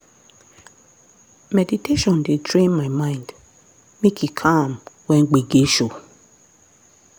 meditation dey train my mind make e calm when gbege show.